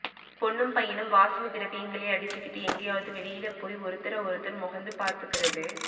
பொண்ணும் பையனும் வாசனை திரவியங்களை அடிச்சிகிட்டு எங்கையாவது வெளியில போய் ஒருத்தர ஒருத்தர் மொகந்து பாத்துக்கறது